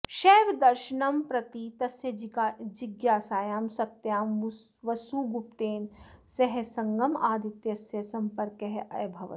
शैवदर्शनं प्रति तस्य जिज्ञासायां सत्यां वसुगुप्तेन सह सङ्गमादित्यस्य सम्पर्कः अभवत्